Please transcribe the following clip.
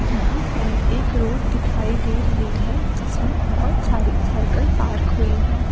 यहाँ पर एक रोड दिखाई दे रही है जिसमे बहुत सारी साइकिल पार्क हुई है।